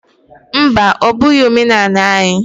Mba! Ọ bụghị omenanị anyị.